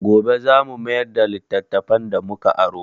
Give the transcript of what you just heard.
Gobe za mu mayar da littattafan da mu ka aro.